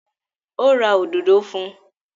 Ó ra òdòdó fún un?